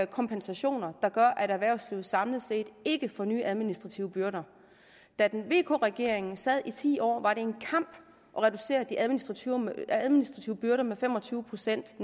kompensation der gør at erhvervslivet samlet set ikke får nye administrative byrder da vk regeringen sad i ti år var det en kamp at reducere de administrative administrative byrder med netto fem og tyve procent